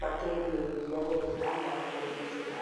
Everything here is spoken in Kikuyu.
Makendia iria wega na mbei njega,